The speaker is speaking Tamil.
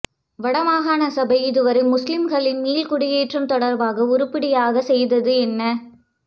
வடமாகாண சபை இதுவரை முஸ்லீம்களின் மீள்குடியேற்றம் தொடர்பாக உருப்படியாக செய்தது என்ன